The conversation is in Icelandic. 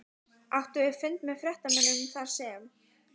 Áttum við fund með fréttamönnum þarsem